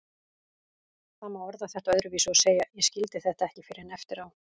Það má orða þetta öðruvísi og segja: Ég skildi þetta ekki fyrr en eftir á.